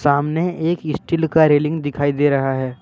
सामने एक स्टील का रेलिंग दिखाई दे रहा है।